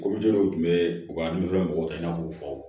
tun bɛ u ka mɔgɔw kɛ i n'a fɔ k'u fɔ